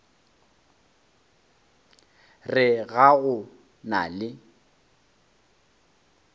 re ga go na le